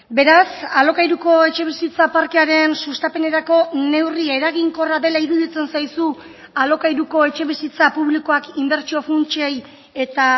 beraz alokairuko etxebizitza parkearen sustapenerako neurri eraginkorra dela iruditzen zaizu alokairuko etxebizitza publikoak inbertsio funtsei eta